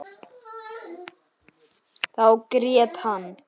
Þá grét hann.